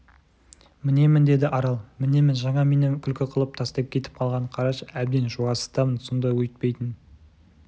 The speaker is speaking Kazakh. мінемін деді арал мінемін жаңа мені күлкі қылып тастап кетіп қалғанын қарашы әбден жуасытамын сонда өйтпейтін